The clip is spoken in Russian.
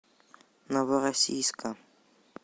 новороссийска